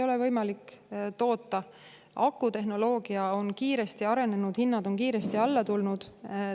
Akutehnoloogia on kiiresti arenenud ja hinnad on kiiresti alla tulnud.